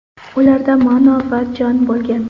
Ularda ma’no va jon bo‘lgan.